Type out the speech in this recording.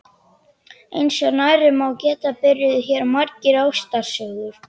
Eins og nærri má geta byrjuðu hér margar ástarsögur.